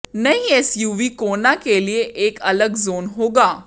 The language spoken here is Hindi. नई एसयूवी कोना के लिए एक अलग जोन होगा